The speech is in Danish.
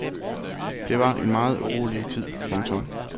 Det var en meget urolig tid. punktum